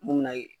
Mun bɛ na